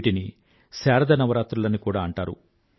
వీటిని శారద నవరాత్రులని కూడా అంటారు